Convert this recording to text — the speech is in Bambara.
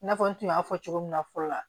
I n'a fɔ n tun y'a fɔ cogo min na fɔlɔ la